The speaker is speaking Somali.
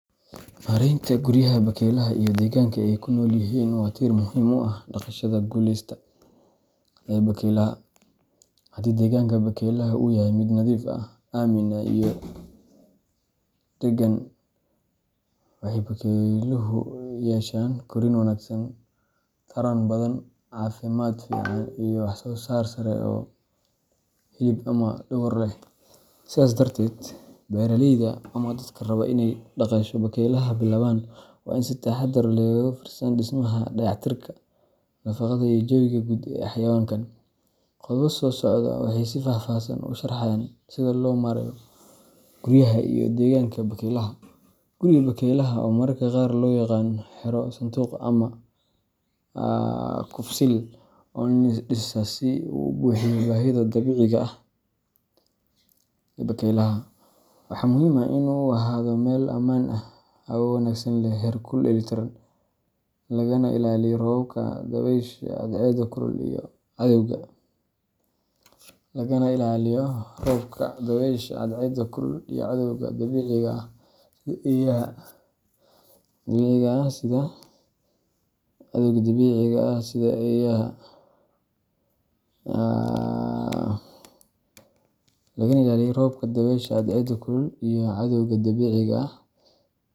Maareynta guryaha bakaylaha iyo deegaanka ay ku nool yihiin waa tiir muhiim u ah dhaqashada guuleysta ee bakaylaha. Haddii deegaanka bakaylaha uu yahay mid nadiif ah, aamin ah, iyo deggan, waxay bakayluhu yeeshaan korriin wanaagsan, taran badan, caafimaad fiican, iyo wax-soo-saar sare oo hilib ama dhogor leh. Sidaas darteed, beeraleyda ama dadka raba inay dhaqasho bakayle bilaabaan waa in ay si taxaddar leh uga fiirsadaan dhismaha, dayactirka, nadaafadda, iyo jawiga guud ee xayawaankan. Qodobada soo socda waxay si faahfaahsan u sharxayaan sida loo maareeyo guryaha iyo deegaanka bakaylaha: Guriga bakaylaha, oo mararka qaar loo yaqaan xero, sanduuq, ama kufsil, waa in loo dhisaa si uu u buuxiyo baahida dabiiciga ah ee bakaylaha. Waxaa muhiim ah in uu ahaado meel ammaan ah, hawo wanaagsan leh, heerkul dheellitiran, lagana ilaaliyo roobka, dabaysha, cadceedda kulul, iyo cadawga dabiiciga ah sida eeyaha.